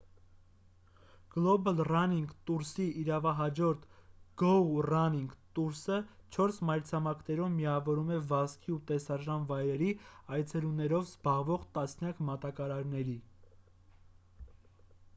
գլոբալ ռանինգ տուրսի իրավահաջորդ գոու ռանինգ տուրսը չորս մայրցամաքներում միավորում է վազքի ու տեսարժան վայրերի այցելություններով զբաղվող տասնյակ մատակարարների